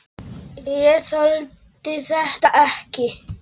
Ég þoldi þetta ekki.